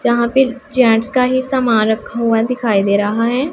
यहां पे जेन्ट्स का ही समान रखा हुआ दिखाई दे रहा है।